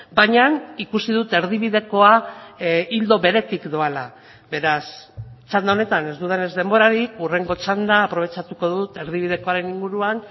baina ikusi dut erdibidekoa ildo beretik doala beraz txanda honetan ez dudanez denborarik hurrengo txanda aprobetxatuko dut erdibidekoaren inguruan